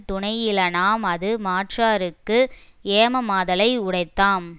துணையிலனாம் அது மாற்றார்க்கு ஏமமாதலை உடைத்தாம்